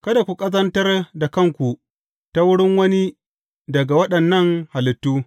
Kada ku ƙazantar da kanku ta wurin wani daga waɗannan halittu.